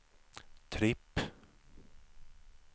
tripp